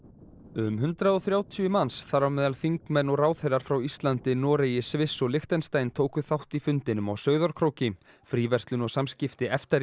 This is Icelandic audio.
um hundrað og þrjátíu manns þar á meðal þingmenn og ráðherrar frá Íslandi Noregi Sviss og Lichtenstein tóku þátt í fundinum á Sauðárkróki fríverslun og samskipti EFTA